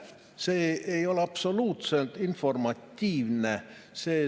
See ei ole absoluutselt informatiivne.